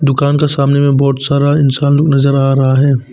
दुकान का सामने में बहुत सारा इंसान लोग नजर आ रहा है।